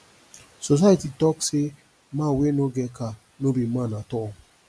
society talk say man wey no get car no be man at all